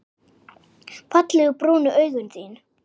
Fallegu brúnu augun þín.